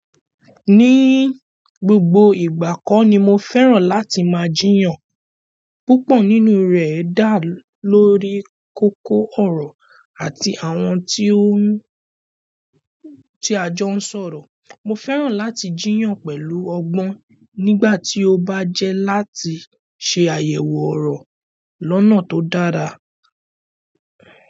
Ní gbogbo ìgbà kọ́ ni mo fẹ́ràn láti máa jiyàn. Púpọ̀ nínú rẹ dá lórí kókó ọrọ àti àwọn tí o ni, tí a jọ n sọ̀rọ̀. Mo fẹ́ràn láti jiyàn pẹ̀lú ọgbọ́n nígbà tí ó bá jẹ́ láti ṣe àyẹ̀wò ọ̀rọ̀ lọ́nà tó dára.